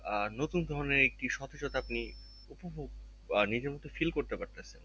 আহ নতুন ধরণের একটি সতেজতা আপনি উপভোগ আহ নিজের মতো feel করতে পারতেছেন